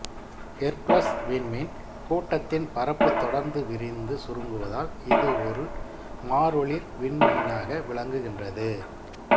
Hercules விண்மீன் கூட்டத்தின் பரப்பு தொடர்ந்து விரிந்து சுருங்குவதால் இது ஒரு மாறொளிர் விண்மீனாக விளங்குகின்றது